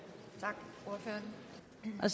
at